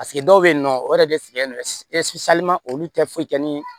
Paseke dɔw bɛ yen nɔ o yɛrɛ de sigilen don olu tɛ foyi kɛ ni